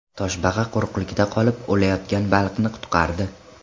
Toshbaqa quruqlikda qolib, o‘layotgan baliqni qutqardi .